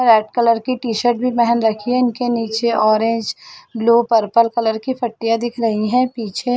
Red colour T shirt भी पहन रखी इनके निचे ओरेंगे ब्लू पर्पल कलर की पट्टिया दिख रही है। पीछे--